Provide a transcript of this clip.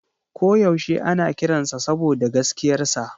Ko yaushe ana kiransa saboda gaskiyarsa.